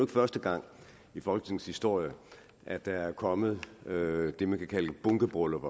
første gang i folketingets historie at der er kommet det vi kan kalde et bunkebryllup